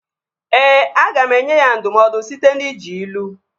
Ee, aga m enye ya ndụmọdụ site n'iji ilu